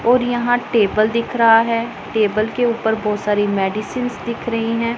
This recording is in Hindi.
और यहां टेबल दिख रहा है टेबल के ऊपर बहोत सारी मेडिसिंस दिख रही है।